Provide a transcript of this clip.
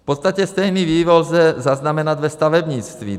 V podstatě stejný vývoj lze zaznamenat ve stavebnictví.